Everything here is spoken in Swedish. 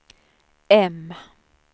M